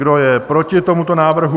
Kdo je proti tomuto návrhu?